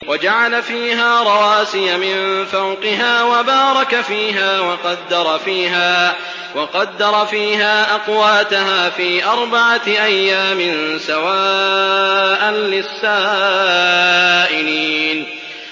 وَجَعَلَ فِيهَا رَوَاسِيَ مِن فَوْقِهَا وَبَارَكَ فِيهَا وَقَدَّرَ فِيهَا أَقْوَاتَهَا فِي أَرْبَعَةِ أَيَّامٍ سَوَاءً لِّلسَّائِلِينَ